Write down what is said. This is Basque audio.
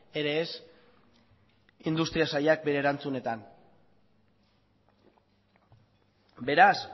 ere ez industria sailak bere erantzunetan beraz